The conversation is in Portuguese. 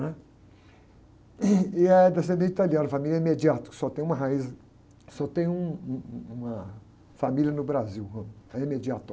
né? E é descendente italiano, família, que só tem uma raiz, só tem um, um, uma família no Brasil, é.